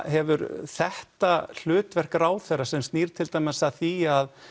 hefur þetta hlutverk ráðherra sem snýr til dæmis að því að